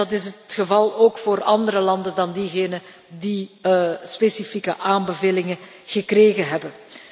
En dat is ook het geval voor andere landen dan diegene die specifieke aanbevelingen gekregen hebben.